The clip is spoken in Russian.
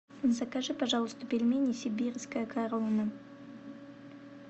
закажи пожалуйста пельмени сибирская корона